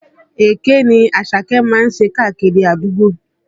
Èké ni Àṣàkẹ́ má ń ṣe kiri àdúgbò